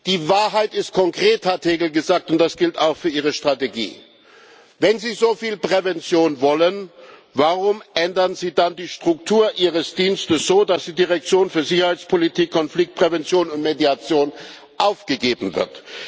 Die Wahrheit ist konkret, hat Hegel gesagt, und das gilt auch für Ihre Strategie. Wenn Sie so viel Prävention wollen, warum ändern Sie dann die Struktur Ihres Dienstes so, dass die Direktion für Sicherheitspolitik, Konfliktprävention und Mediation aufgegeben wird?